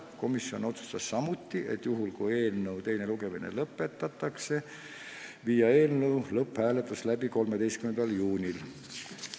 Komisjon otsustas samuti, et juhul, kui teine lugemine lõpetatakse, võiks eelnõu lõpphääletuse läbi viia 13. juunil.